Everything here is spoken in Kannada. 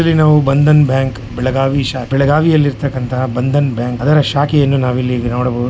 ಇಲ್ಲಿ ನಾವು ಬಂಧನ್ ಬ್ಯಾಂಕ್ ಬೆಳಗಾವಿ ಷ ಬೆಳಗಾವಿ ಯಲ್ಲಿ ಇರುವತಕ್ಕಂತ ಬಂಧನ್ ಬ್ಯಾಂಕ್ ಅದರ ಶಾಖೆಯನ್ನು ನಾವಿಲ್ಲಿ ನೋಡಬಹುದು --